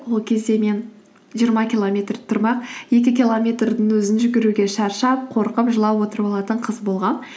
ол кезде мен жиырма километр тұрмақ екі километрдің өзін жүгіруге шаршап қорқып жылап отырып алатын қыз болғанмын